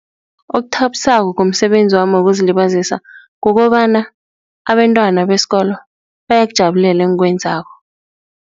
Okuthabisako ngomsebenzi wami wokuzilibazisa kukobana abentwana besikolo bayakujabulela engikwenzako.